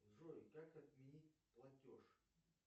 джой как отменить платеж